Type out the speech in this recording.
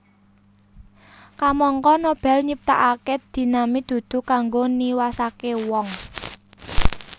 Kamangka Nobel nyiptakake dinamit dudu kanggo niwasake wong